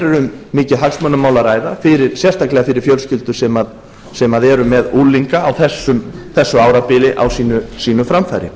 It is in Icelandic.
um mikið hagsmunamál að ræða sérstaklega fyrir fjölskyldur sem eru með unglinga á þessu árabili á sínu framfæri